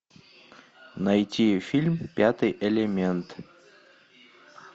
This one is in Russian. найти фильм пятый элемент